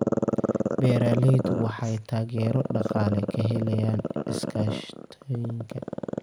Beeralayda waxay taageero dhaqaale ka helaan iskaashatooyinka.